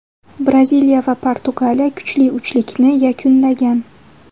Braziliya va Portugaliya kuchli uchlikni yakunlagan.